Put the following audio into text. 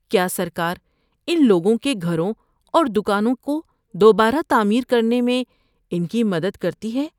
کیا سرکار ان لوگوں کے گھروں اور دکانوں کو دوبارہ تعمیر کرنے میں ان کی مدد کرتی ہے؟